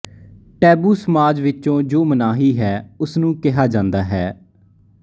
taboo ਸਮਾਜ ਵਿਚੋਂ ਜੋ ਮਨਾਹੀ ਹੈ ਉਸ ਨੂੰ ਕਿਹਾ ਜਾਂਦਾ ਹੈ